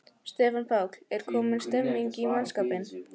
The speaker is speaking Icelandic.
Stefán Páll: Er komin stemning í mannskapinn?